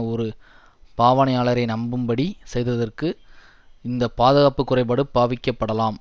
ஒரு பாவனையாளரை நம்பும்படி செய்ததற்கு இந்த பாதுகாப்பு குறைபாடு பாவிக்கப்படலாம்